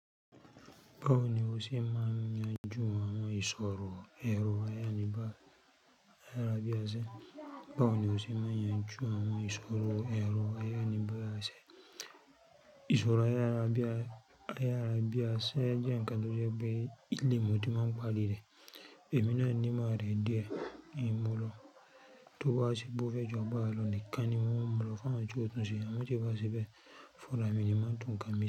Báwo ni o ṣe máa ń yanjú àwọn ìṣòro èrò ayániba, áyàrabíaṣa? Báwo ni o ṣe máa ń yanjú àwọn ìṣòro èrò ayániláyà bí a ṣe? Ìṣòro ayárabiyà ayarabíaṣe jẹ́ ǹkan tó jẹ́ pé ìlẹ̀ mọ́ tí máa ń pari ìrẹ̀. Ẹ̀mí náà ní ìmo ìrẹ̀ díẹ̀ n mulọ̀ tó bá ṣe pe ó fẹ́ ju agbarà lò ni kan ní mọ́ mulọ̀ fún àwọn tio túnse àmọ tí o bá ṣe bẹ̀ fúnra mi ní máa tún nkan mi se.